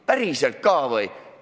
Päriselt ka või?!